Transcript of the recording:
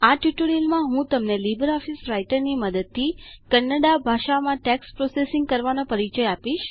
આ ટ્યુટોરીયલમાં હું તમને લીબર ઓફીસ રાઈટરની મદદથી કન્નડા ભાષામાં ટેક્સ્ટ પ્રોસેસિંગ કરવાનો પરિચય આપીશ